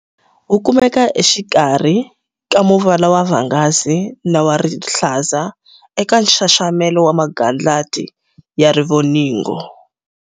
Wu kumeka exikarhi ka muvala wa vhangazi na wa rihlaza eka nxaxamelo wa magandlati ya rivoningo.